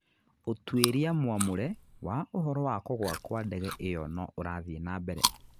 Ũtuĩria mwamure wa ũhoro wa kugũa kwa ndege ĩyo no ũrathiĩ na mbere.